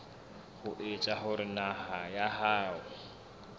ho etsa hore naha ya